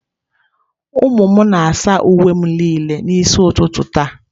Ụmụ m na-asa uwe m niile n'isi ụtụtụ taa.